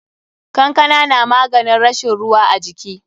Kankana na maganin rashin ruwa a jiki.